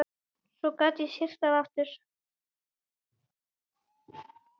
Svo gat syrt að aftur.